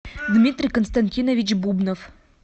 дмитрий константинович бубнов